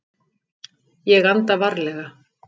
Ég anda varlega.